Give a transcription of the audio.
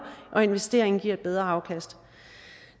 og investeringen giver et bedre afkast